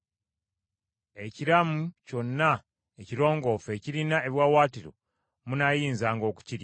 Ekiramu kyonna ekirongoofu ekirina ebiwaawaatiro munaayinzanga okukirya.